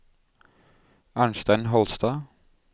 Arnstein Holstad